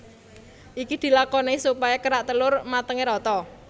Iki dilakoni supaya kerak telor matenge rata